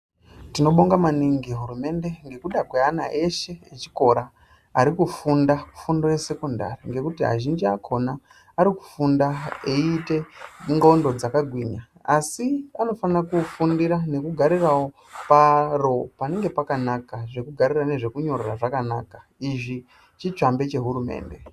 Tinobonga maningi hurumende ngekuda kweana eshe echikora arikufunda fundo yesekondari. Ngekuti azhinji achona arikufunda eiite ndxondo dzakagwinya. Asi anofanira kufundira ngekugarirawo paro panenge pakanaka. Zvekugarira nezvekunyorera pakanaka. Izvi chitsvambe chehurumende.